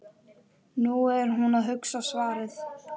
Nú er hún að hugsa svarið.